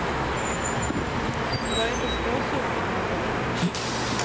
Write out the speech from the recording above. Och det är inte småsummor det handlar om.